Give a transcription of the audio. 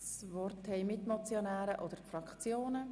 Das Wort haben die Mitmotionäre oder die Fraktionen.